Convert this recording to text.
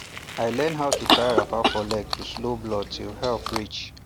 i learn how to tie wrapper for leg to slow blood till help reach